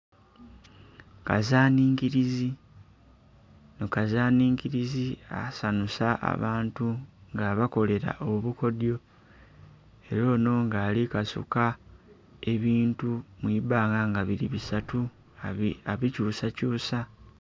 Kazaninkirizi ono kazaninkirizi asanhusa abantu nga abakolera obukodhyo era ono nga ali kasuka ebintu mu ibanga nga biri bisatu abikyusa kyusa.